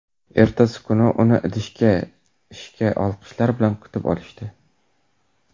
Ertasi kuni uni ishda olqishlar bilan kutib olishdi.